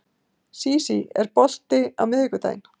Sísí, er bolti á miðvikudaginn?